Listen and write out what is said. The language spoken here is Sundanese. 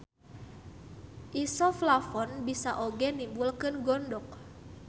Isoflavon bisa oge nimbulkeun gondok.